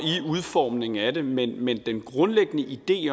udformningen af det men men den grundlæggende idé